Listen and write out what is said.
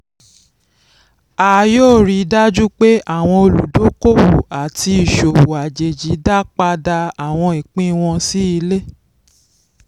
a yóò rí dájú pé àwọn olùdókòwò àti ìṣòwò àjèjì dápadà àwọn ìpín wọn sí ilé.